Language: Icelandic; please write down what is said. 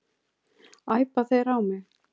Æpa þeir á mig?